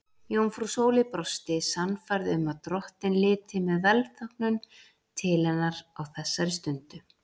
Jómfrú Sóley brosti, sannfærð um að drottinn liti með velþóknun til hennar á þessari stundu.